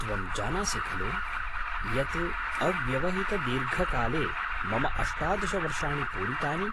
त्वं जानासि खलु यत् अव्यवहितदीर्घकाले मम अष्टादश वर्षाणि पूरितानि?